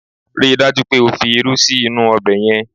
Rí i dájú pé o fi irú sí inú ọbẹ̀ yẹn!